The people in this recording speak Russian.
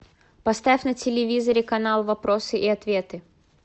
поставь на телевизоре канал вопросы и ответы